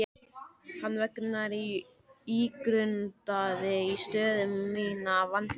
Hennar vegna ígrundaði ég stöðu mína vandlega.